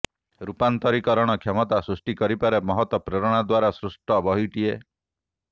ରୂପାନ୍ତରୀକରଣ କ୍ଷମତା ସୃଷ୍ଟି କରିପାରେ ମହତ୍ ପ୍ରେରଣା ଦ୍ୱାରା ସୃଷ୍ଟ ବହିଟିଏ